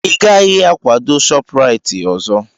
Ị gaghị akwado Shopuraiti ọzọ!